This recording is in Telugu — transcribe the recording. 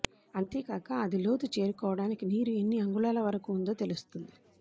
అంతేకాక అది లోతు చేరుకోవడానికి నీరు ఎన్ని అంగుళాల వరకు ఉందొ తెలుస్తుంది